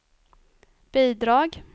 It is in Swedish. bidrag